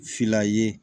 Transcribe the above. Fila ye